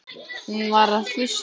Hún var að hlusta.